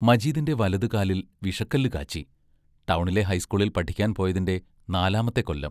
മജീദിന്റെ വലതുകാലിൽ വിഷക്കല്ല് കാച്ചി ടൗണിലെ ഹൈസ്കൂളിൽ പഠിക്കാൻ പോയതിന്റെ നാലാമത്തെ കൊല്ലം.